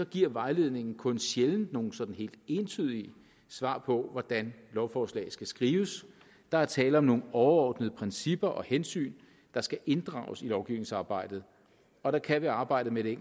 giver vejledningen kun sjældent nogle sådan helt entydige svar på hvordan lovforslag skal skrives der er tale om nogle overordnede principper og hensyn der skal inddrages i lovgivningsarbejdet og der kan ved arbejdet med det